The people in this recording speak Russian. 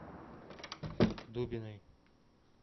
дубиной